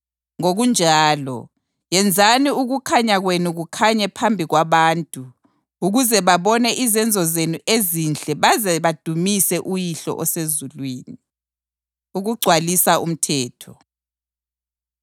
Ngokunjalo, yenzani ukukhanya kwenu kukhanye phambi kwabantu ukuze babone izenzo zenu ezinhle baze badumise uYihlo osezulwini.” Ukugcwalisa Umthetho